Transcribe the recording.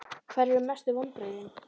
Hverjir eru mestu vonbrigðin?